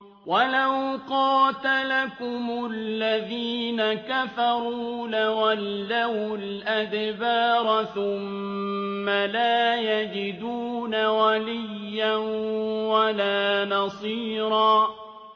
وَلَوْ قَاتَلَكُمُ الَّذِينَ كَفَرُوا لَوَلَّوُا الْأَدْبَارَ ثُمَّ لَا يَجِدُونَ وَلِيًّا وَلَا نَصِيرًا